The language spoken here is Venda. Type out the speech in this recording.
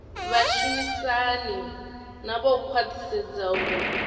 vhashumisani navho u khwathisedza uri